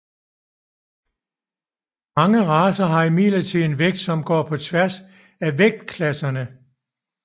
Mange racer har imidlertid en vægt som går på tværs af vægtklasserne